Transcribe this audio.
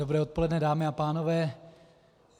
Dobré odpoledne, dámy a pánové.